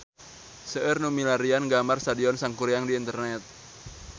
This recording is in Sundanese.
Seueur nu milarian gambar Stadion Sangkuriang di internet